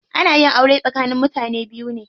Ana yin aure tsakanin mutane biyu ne.